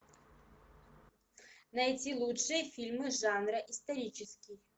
найти лучшие фильмы жанра исторический